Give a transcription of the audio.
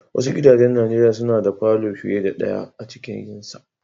Wasu gidajen Nijeriya suna da falo fiyar da daya a cikin sa.